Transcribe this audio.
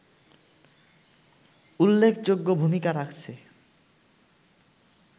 উল্লেখযোগ্য ভূমিকা রাখছে